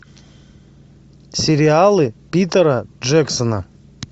сериалы питера джексона